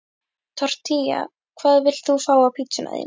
Tortilla Hvað vilt þú fá á pizzuna þína?